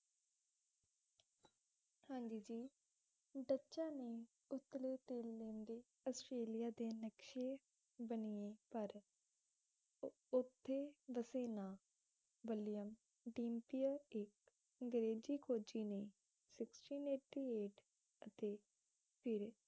Australia ਦੇ ਨਕਸ਼ੇ ਬਨਿਏ ਪਰ ਉਥੇ ਵਸੇ ਨਾਂ ਵਲੀਅਮ ਡੀਮਪੀਇਰ ਇੱਕ ਅੰਗਰੇਜ਼ ਖੋਜੀ ਨੇਤੇ ਫ਼ਿਰ